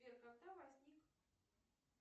сбер когда возник